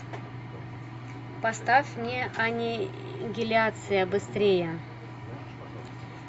поставь мне анигиляция быстрее